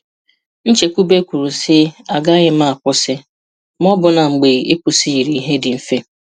Nchekwube kwuru si agaghị m akwụsị! Ma ọbụna mgbe ịkwụsị yiri ihe dị mfe.